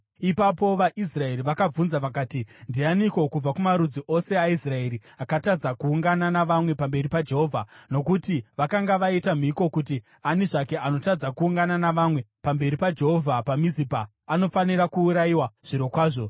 Ipapo vaIsraeri vakabvunza vakati, “Ndianiko kubva kumarudzi ose aIsraeri akatadza kuungana navamwe pamberi paJehovha?” Nokuti vakanga vaita mhiko kuti ani zvake anotadza kuungana navamwe pamberi paJehovha paMizipa anofanira kuurayiwa zvirokwazvo.